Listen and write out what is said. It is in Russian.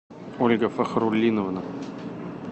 ольга фахрулиновна